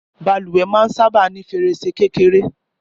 Bàlùwẹ̀ máa ń sábà ní fèrèsé kékeré